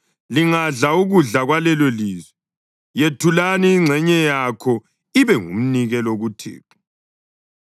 lingadla ukudla kwalelolizwe, yethulani ingxenye yakho ibe ngumnikelo kuThixo.